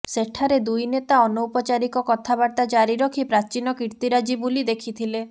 ସେଠାରେ ଦୁଇ ନେତା ଅନୌପଚାରିକ କଥାବାର୍ତ୍ତା ଜାରି ରଖି ପ୍ରାଚୀନ କୀର୍ତ୍ତିରାଜି ବୁଲି ଦେଖିଥିଲେ